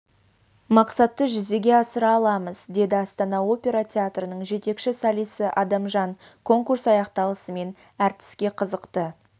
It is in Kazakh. мақсатты жүзеге асыра аламыз деді астана опера театрының жетекші солисі адамжан конкурс аяқталысымен әртіске қызықты